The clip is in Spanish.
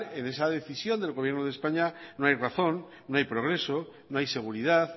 en esa decisión del gobierno de españa no hay razón no hay progreso no hay seguridad